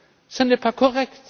Ce n'est pas